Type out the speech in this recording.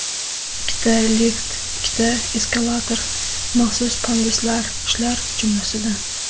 Ikkita lift, ikkita eskalator, maxsus panduslar, shular jumlasidan.